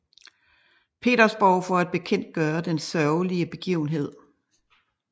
Petersborg for at bekendtgøre den sørgelige begivenhed